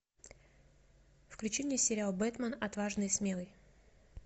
включи мне сериал бэтмен отважный и смелый